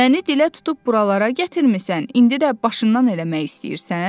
Məni dilə tutub buralara gətirmisən, indi də başından eləmək istəyirsən?